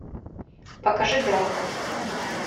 покажи драмы